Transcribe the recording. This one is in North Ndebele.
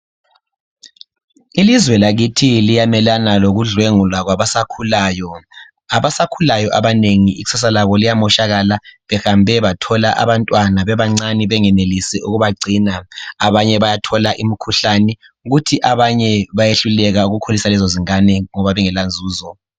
Ilizwe lakithi liyamelana lokudlwengulwa kwabasakhulayo abasakhulayo abanengi ikusasa labo liyamoshakala behambe bathola abantwana bebancane bengenelisi ukubagcina abanye bayathola imikhuhlane kuthi abanye bayehluleka ukukhulisa lezo zingane ngoba bengela nzuzo.